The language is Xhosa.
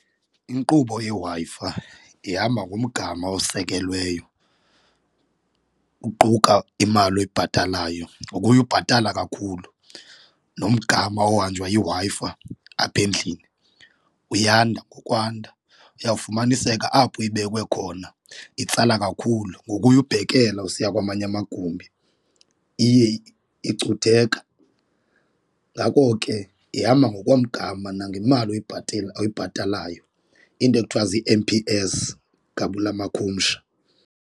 Inkqubo yeWi-Fi ihamba ngomgama osekelweyo kuquka imali oyibhatalayo ngokuya ubhatala kakhulu nomgama ohanjwa yiWi-Fi apha endlini uyanda nokwanda, uya kufumaniseka apho ibekwe khona itsala kakhulu ngokuya ubhekela usiya kwamanye amagumbi iye icutheka. Ngako ke ihamba ngokomgama nangemali oyibhatalayo, into ekuthiwa zii-M_P_S ngabula makhumsha.